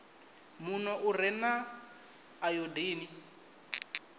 muno u re na ayodini